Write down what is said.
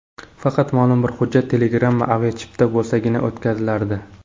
Faqat ma’lum bir hujjat: telegramma, aviachipta bo‘lsagina o‘tkazilardi.